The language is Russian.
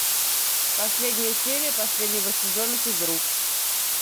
последняя серия последнего сезона физрук